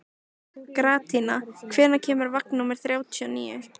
Gratíana, hvenær kemur vagn númer þrjátíu og níu?